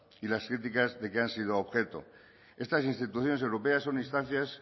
y las críticas de que han sido objeto estas instituciones europeas son instancias